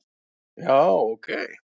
já ok